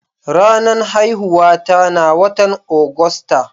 Ranan haihuwa ta na wotan Agusta.